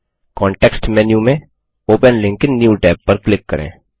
context menu में open link in new tab पर click करें